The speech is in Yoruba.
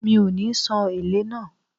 Mi ò ní san èlé náà.